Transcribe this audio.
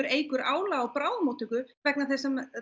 eykur álag á bráðamóttöku vegna þess að